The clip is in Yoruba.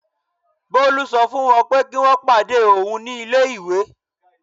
Bolu sọ fún wọ́n pé kí wọ́n pàdé òun ní ilé-ìwé.